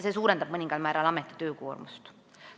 See suurendab mõningal määral ameti töökoormust.